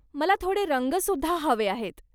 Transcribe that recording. मला थोडे रंग सुद्धा हवे आहेत.